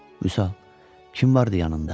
Vüsal, kim vardı yanında?